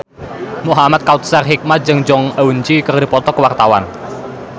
Muhamad Kautsar Hikmat jeung Jong Eun Ji keur dipoto ku wartawan